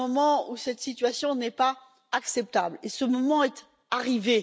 Il y a un moment où cette situation n'est plus acceptable et ce moment est arrivé.